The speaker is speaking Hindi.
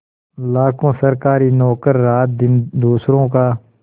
लाखों सरकारी नौकर रातदिन दूसरों का